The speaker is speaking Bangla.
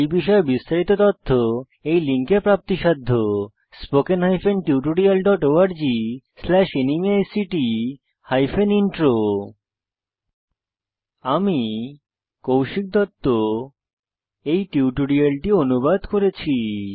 এই বিষয়ে বিস্তারিত তথ্য এই লিঙ্কে প্রাপ্তিসাধ্য spoken hyphen tutorial dot org slash NMEICT hyphen intro আমি কৌশিক দত্ত এই টিউটোরিয়ালটি অনুবাদ করেছি